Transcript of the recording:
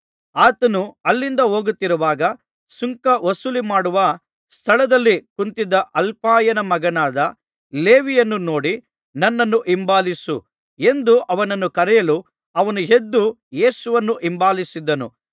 ಆತನು ಅಲ್ಲಿಂದ ಹೋಗುತ್ತಿರುವಾಗ ಸುಂಕ ವಸೂಲಿಮಾಡುವ ಸ್ಥಳದಲ್ಲಿ ಕುಳಿತಿದ್ದ ಅಲ್ಫಾಯನ ಮಗನಾದ ಲೇವಿಯನ್ನು ನೋಡಿ ನನ್ನನ್ನು ಹಿಂಬಾಲಿಸು ಎಂದು ಅವನನ್ನು ಕರೆಯಲು ಅವನು ಎದ್ದು ಯೇಸುವನ್ನು ಹಿಂಬಾಲಿಸಿದನು